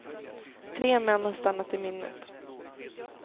Tre män har stannat i minnet.